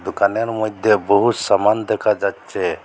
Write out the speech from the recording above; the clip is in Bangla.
দোকানের মইধ্যে বহু সামান দেখা যাচ্ছে।